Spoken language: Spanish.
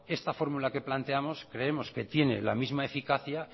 esta fórmula que planteamos creemos que tiene la misma eficacia